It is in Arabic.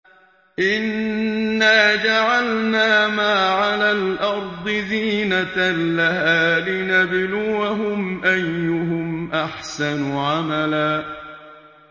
إِنَّا جَعَلْنَا مَا عَلَى الْأَرْضِ زِينَةً لَّهَا لِنَبْلُوَهُمْ أَيُّهُمْ أَحْسَنُ عَمَلًا